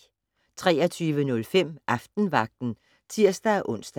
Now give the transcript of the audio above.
23:05: Aftenvagten (tir-ons)